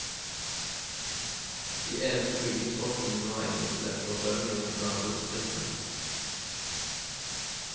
De eneste bygningsfolkene som var egnet til dette var bøndene i nabodistriktene.